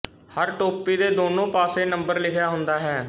ਹਰ ਟੋਪੀ ਦੇ ਦੋਨੋਂ ਪਾਸੇ ਨੰਬਰ ਲਿਖਿਆ ਹੁੰਦਾ ਹੈ